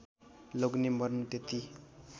लोग्ने मर्नु त्यति